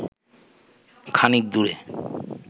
খানিক দূরে